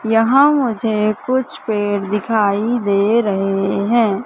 यहां मुझे कुछ पेड़ दिखाई दे रहे हैं।